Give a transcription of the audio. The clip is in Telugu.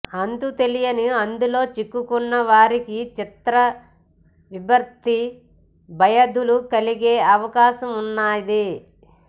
అంతు తెలియని అందులో చిక్కుకున్న వారికి చిత్తవిభ్రాంతి భయాదులు కలిగే అవకాశమున్నది